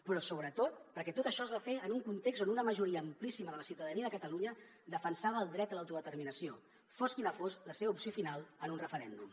però sobretot perquè tot això es va fer en un context on una majoria amplíssima de la ciutadania de catalunya defensava el dret a l’autodeterminació fos quina fos la seva opció final en un referèndum